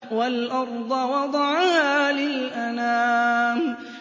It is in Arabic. وَالْأَرْضَ وَضَعَهَا لِلْأَنَامِ